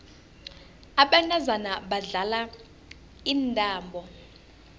abantazana badlala intambo